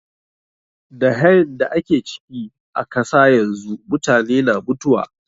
Da hain da ake ciki a kasa yanzu, mutane na mutuwa.